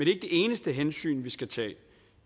det eneste hensyn vi skal tage